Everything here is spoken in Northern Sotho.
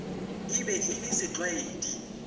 e be e le setlwaedi